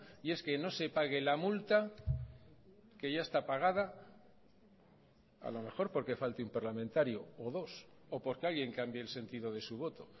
y es que no se pague la multa que ya está pagada a lo mejor porque falte un parlamentario o dos o porque alguien cambie el sentido de su voto